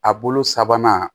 A bolo sabanan